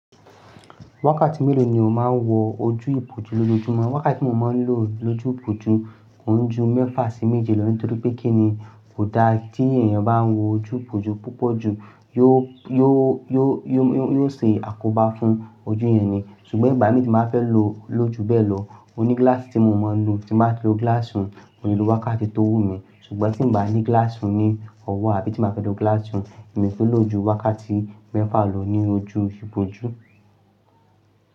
Wákàtí mélòó ni o máa ń wọ ojú ìbòjú lójoójúmọ́? Wákàtí tí mo máa ń lò lójú ìbòjú òun ju mẹ́fà sí méje lọ nítorí pé kí ni kò dá tí èèyàn bá ń wọ ojú ìbòjú púpọ̀ jù, yóò, yóò, yóò, yóò ṣe àkóbá fún ojú yẹn ni. Ṣùgbọ́n ìgbà mìíràn tí màá fẹ́ lò lójú bẹ́ẹ̀ lọ, ó ní gílàsì tí mo máa ń lò. Tí màá lo gílàsì òun, mo lè lo wákàtí tó wú mi, ṣùgbọ́n tí ń bá ní gílàsì òun ní ọwọ́ àbí tí màá fẹ́ lo gílàsì òun, èmi ṣì ń lo ojú wákàtí mẹ́fà lọ ní ojú ìbòjú.